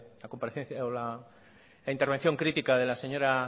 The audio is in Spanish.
la comparecencia o la intervención crítica de la señora